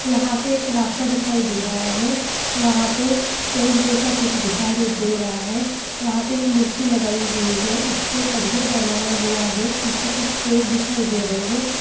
यहाँ पे एक रास्ता दिखाई दे रहा है वहाँ पे चौक जैसा कुछ दिखारे दे रहा है वहाँ पे एक मूर्ति लगाई हुई है उसको कटघर बनाया हुवा है पीछे कुछ पेर दिखाई दे रहे है ।